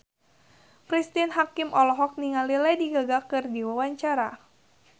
Cristine Hakim olohok ningali Lady Gaga keur diwawancara